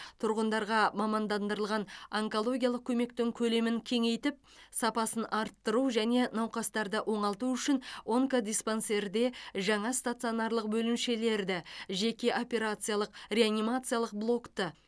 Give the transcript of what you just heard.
тұрғындарға мамандандырылған онкологиялық көмектің көлемін кеңейтіп сапасын арттыру және науқастарды оңалту үшін онкодиспансерде жаңа стационарлық бөлімшелерді жеке операциялық реанимациялық блокты